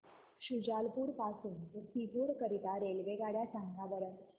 शुजालपुर पासून ते सीहोर करीता रेल्वेगाड्या सांगा बरं